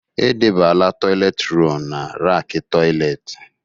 Edebela toịletị rọlụ n'rackị toịletị.